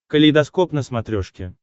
калейдоскоп на смотрешке